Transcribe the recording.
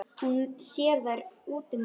Hún sér þær útundan sér.